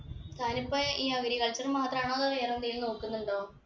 താനപ്പോ ഈ agriculture മാത്രാണോ അതോ വേറെ എന്തേലു നോക്കുന്നുണ്ടോ